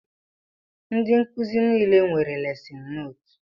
Ndị nkụzi nile nwere lesin nootu